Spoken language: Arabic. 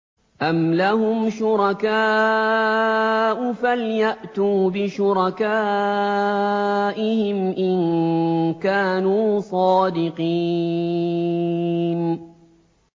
أَمْ لَهُمْ شُرَكَاءُ فَلْيَأْتُوا بِشُرَكَائِهِمْ إِن كَانُوا صَادِقِينَ